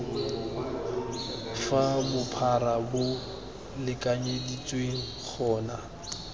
fa bophara bo lekanyeditsweng gona